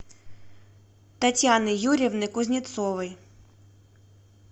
татьяны юрьевны кузнецовой